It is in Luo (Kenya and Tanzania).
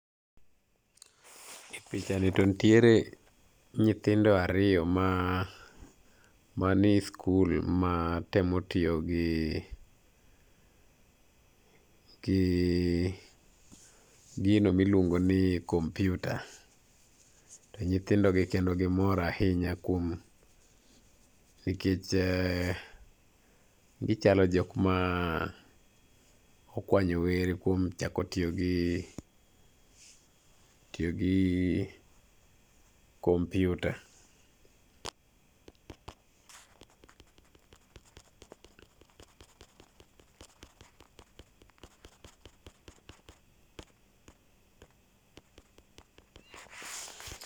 E picha ni to nitiere nyithindo ariyo mani e sikul matemo tiyo gi gi gino ma iluongo ni kompiuta. To nyithindogi kendo gimor ahinya kuom gichalo joma nokwanyo were kuom chako tiyo gi tiyo gi tiyo gi kompiuta